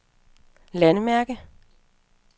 landmærke